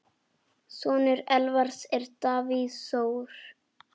Sonur Elvars er Davíð Þór.